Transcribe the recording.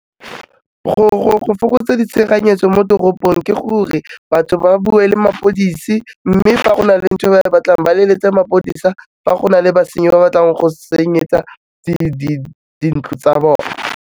Go fokotsa ditshenyegelo mo toropong ke gore batho ba bue le mapodisi, mme fa go na le ntho e ba e batlang ba leletse mapodisa fa go na le basenyi ba batlang go senyetsa dintlo tsa bona.